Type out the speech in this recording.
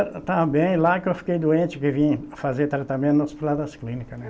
Eu estava bem lá que eu fiquei doente, que vim fazer tratamento no Hospital das Clínicas, né?